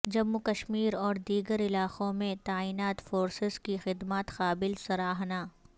جموں کشمیر اور دیگر علاقوں میں تعینات فورسز کی خدمات قابل سراہنا